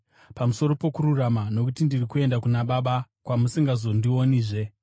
pamusoro pokururama, nokuti ndiri kuenda kuna Baba, kwamusingazondionizve;